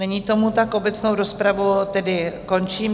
Není tomu tak, obecnou rozpravu tedy končím.